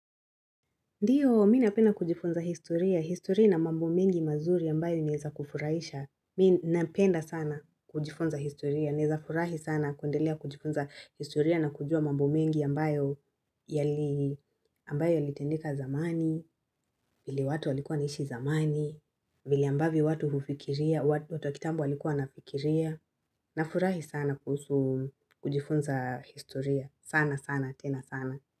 Ndiyo, mi napenda kujifunza historia, historia ina mambo mengi mazuri ambayo inaeza kufurahisha, mi napenda sana kujifunza historia, neza furahi sana kundelea kujifunza historia na kujua mambo mengi ambayo yali, ambayo yalitendeka zamani, vile watu walikuwa wanaishi zamani, vili ambavyo watu hufikiria, watu wakitambo walikuwa wanafikiria, na furahi sana kuhusu kujifunza historia, sana sana, tena sana.